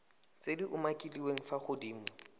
tse di umakiliweng fa godimo